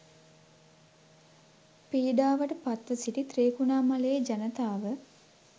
පීඩාවට පත්ව සිටි ත්‍රිකුණාමලයේ ජනතාව